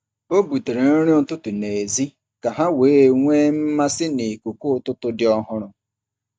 Ọ butere nri ụtụtụ n’èzí ka ha wee nwee mmasị n’ikuku ụtụtụ dị ọhụrụ.